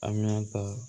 Aminata